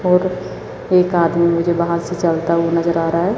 और एक आदमी मुझे बाहर से चलता हुआ नजर आ रहा है।